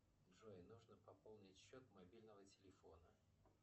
джой нужно пополнить счет мобильного телефона